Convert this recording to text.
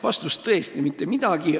Vastus on tõesti: mitte midagi.